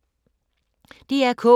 DR K